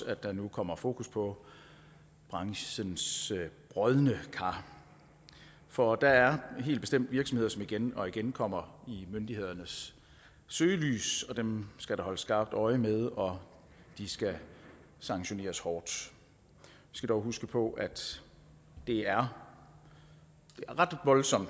at der nu kommer fokus på branchens brodne kar for der er helt bestemt virksomheder som igen og igen kommer i myndighedernes søgelys og dem skal der holdes skarpt øje med og de skal sanktioneres hårdt vi skal dog huske på at det er ret voldsomt